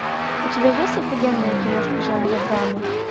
у тебя есть офигенная киношка жанра драма